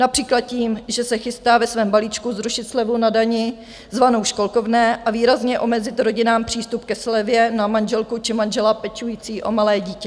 Například tím, že se chystá ve svém balíčku zrušit slevu na dani, zvanou školkovné a výrazně omezit rodinám přístup ke slevě na manželku či manžela pečujících o malé dítě.